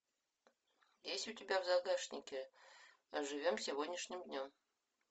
есть у тебя в загашнике живем сегодняшним днем